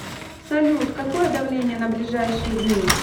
салют какое давление на ближайшие дни